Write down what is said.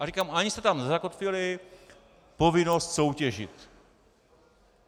A říkám, ani jste tam nezakotvili povinnost soutěžit.